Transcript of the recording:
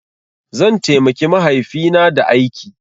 Zan taimaki mahaifina da aiki.